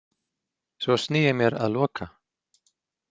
Svo sný ég mér að Loka